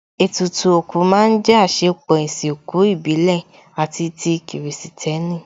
Ètùtù òkú má ń jẹ́ àsèpọ̀ ìsìnkú ìbílẹ̀ àti ti kìrìsìtẹ́nì